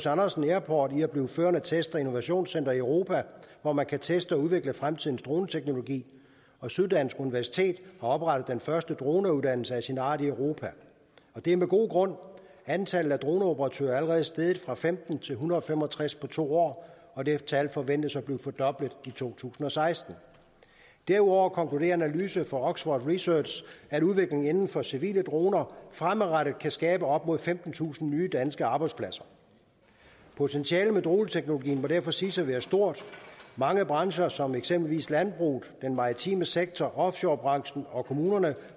andersen airport i at blive førende test og innovationscenter i europa hvor man kan teste og udvikle fremtidens droneteknologi og syddansk universitet har oprettet den første droneuddannelse af sin art i europa det er med god grund antallet af droneoperatører er allerede steget fra femten til en hundrede og fem og tres på to år og det tal forventes at blive fordoblet i to tusind og seksten derudover konkluderer en analyse fra oxford research at udviklingen inden for civile droner fremadrettet kan skabe op mod femtentusind nye danske arbejdspladser potentialet for droneteknologien må derfor siges at være stort mange brancher som eksempelvis landbruget den maritime sektor offshorebranchen og kommunerne